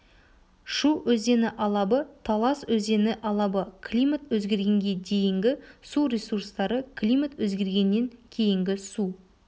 шу өзені алабы талас өзені алабы климат өзгергенге дейінгі су ресурстары климат өзгергеннен кейінгі су